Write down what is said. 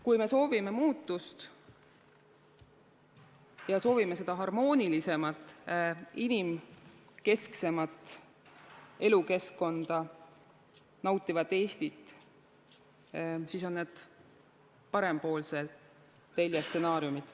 Kui me soovime muutust ja soovime harmoonilisemat, inimkesksemat, elukeskkonda nautivat Eestit, siis need on parempoolse telje stsenaariumid.